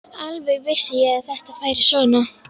Alveg vissi ég að þetta færi svona!